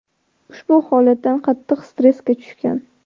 ushbu holatdan qattiq stressga tushgan.